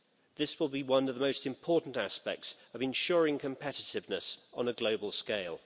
This will be one of the most important aspects of ensuring competitiveness on a global scale.